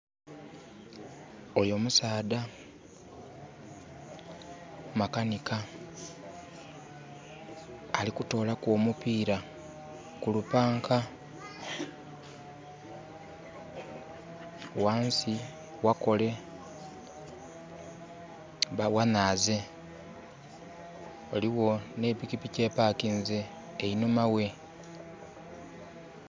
Oyo musaadha makanika. Ali kutoolaku omupiira ku lupanka. Ghansi ghakole, ghanaaze, ghaligho n'epikipiki epakinze enhuma ghe.